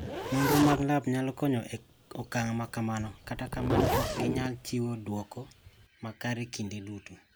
Nonro mag lab nyalo konyo e okang' ma kamano, to kata kamano, ok ginyal chiwo dwoko makare kinde duto.